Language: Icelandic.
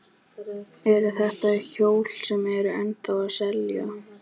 Eru þetta hjól sem eru ennþá að selja?